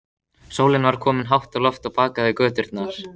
Sólin var komin hátt á loft og bakaði göturnar.